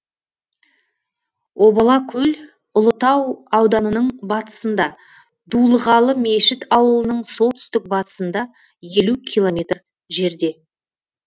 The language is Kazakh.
обала көл ұлытау ауданының батысында дулығалы мешіт ауылының солтүстік батысында елу километр жерде